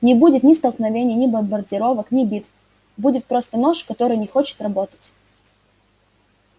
не будет ни столкновений ни бомбардировок ни битв будет просто нож который не хочет работать